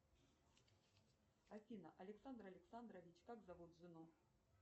афина александр александрович как зовут жену